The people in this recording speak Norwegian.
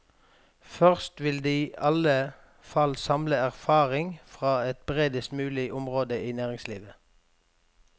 Først vil de i alle fall samle erfaring fra et bredest mulig område i næringslivet.